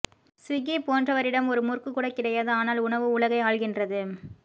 Swiggy போன்றவற்றிடம் ஒரு முறுக்கு கூட கிடையாது ஆனால் உணவு உலகை ஆள்கின்றது